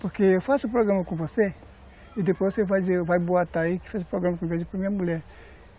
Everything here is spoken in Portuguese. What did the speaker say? Porque eu faço um programa com você, e depois você dizer, vai boatar aí que faz um programa minha mulher.